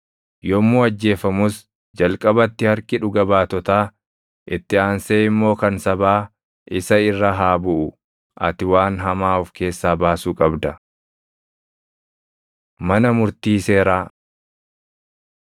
Yommuu ajjeefamus jalqabatti harki dhuga baatotaa, itti aansee immoo kan sabaa isa irra haa buʼu; ati waan hamaa of keessaa baasuu qabda. Mana Murtii Seeraa